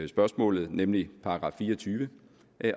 spørgsmålet nemlig § fire og tyve